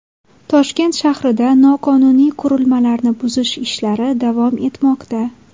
Toshkent shahrida noqonuniy qurilmalarni buzish ishlari davom etmoqda.